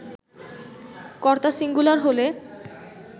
কর্তা সিঙ্গুলার হলে